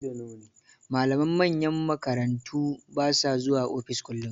Malaman manyan makarantu ba sa zuwa ofis kullun.